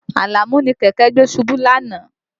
Àlàmú ni kẹ̀kẹ́ gbé ṣubú lánàá